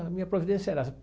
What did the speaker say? A minha providência era.